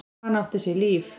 Hann átti sér líf.